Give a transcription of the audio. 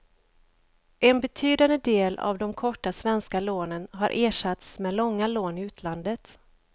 En betydande del av de korta svenska lånen har ersatts med långa lån i utlandet.